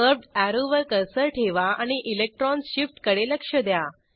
curved अॅरोवर cursor ठेवा आणि इलेक्ट्रॉन शिफ्टकडे लक्ष द्या